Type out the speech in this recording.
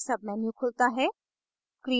एक menu खुलता है